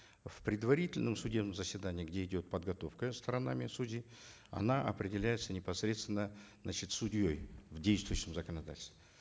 в предварительном судебном заседании где идет подготовка сторонами судей она определяется непосредственно значит судьей в дейстующем законодательстве